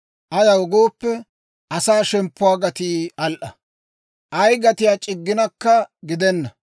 Ayaw gooppe, asaa shemppuwaa gatii al"a. Ay gatiyaa c'igginakka gidena.